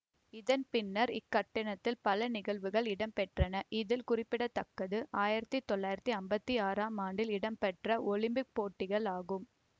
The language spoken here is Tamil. இதன் பின்னர் இக்கட்டிடத்தில் பல நிகழ்வுகள் இடம்பெற்றன இதில் குறிப்பிட தக்கது ஆயிரத்தி தொள்ளாயிரத்தி அம்பத்தி ஆறாம் ஆண்டில் இடம்பெற்ற ஒலிம்பிக் போட்டிகள் ஆகும்